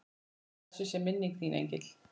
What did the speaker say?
Blessuð sé minning þín engill.